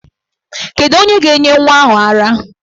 Kedu onye ga-enye nwa ahụ ara?